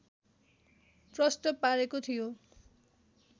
प्रष्ट पारेको थियो